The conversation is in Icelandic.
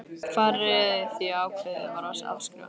Hvað réði því að ákveðið var að afskrifa?